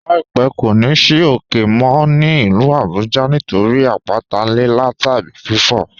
"Láípẹ̀ kò ní ì sì ókè mó ní ilú Àbújá nítorí àpàtà Lílà tàbí fífò.